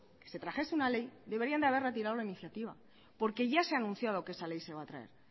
que se trajese una ley deberían de haber retirado la iniciativa porque ya se ha anunciado que esa ley se va a traer